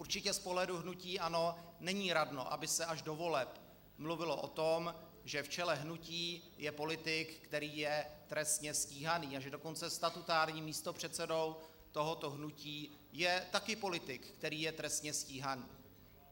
Určitě z pohledu hnutí ANO není radno, aby se až do voleb mluvilo o tom, že v čele hnutí je politik, který je trestně stíhaný, a že dokonce statutárním místopředsedou tohoto hnutí je taky politik, který je trestně stíhaný.